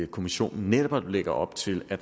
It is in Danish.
kommissionen netop lægger op til at